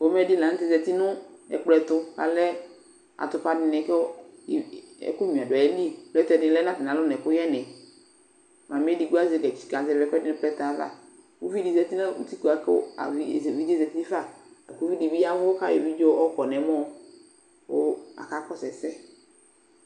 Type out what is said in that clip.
Pomɛ dɩ la nʋ tɛ zati nʋ ɛkplɔ ɛtʋ kʋ alɛ atʋpa dɩnɩ kʋ iv ɛ ɛkʋnyuǝ dʋ ayili Plɛtɛ dɩ lɛ nʋ atamɩalɔ nʋ ɛkʋyɛnɩ Mamɩ edigbo azɛ gatsi kazɛvɩ ɛkʋɛdɩ nʋ plɛtɛ yɛ ava Uvi dɩ zati nʋ utikpǝ kʋ avɩ evidze dɩ zati fa la kʋ uvi dɩ bɩ ya ɛvʋ kʋ ayɔ evidze yɔkɔ nʋ ɛmɔ kʋ akakɔsʋ ɛsɛ